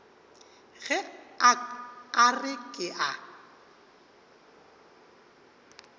ge a re ke a